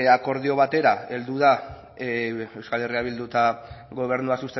akordio batera heldu da euskal herria bildu eta gobernua